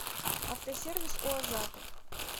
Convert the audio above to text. автосервис у азата